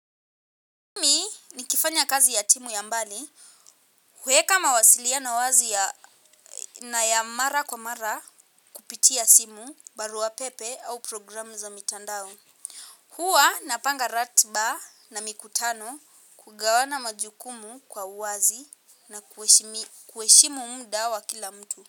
Mimi nikifanya kazi ya timu ya mbali, kuweka mawasiliano wazi na ya mara kwa mara kupitia simu, barua pepe au programu za mitandao. Hua napanga ratiba na mikutano, kugawana majukumu kwa wazi na kuheshimu muda wa kila mtu.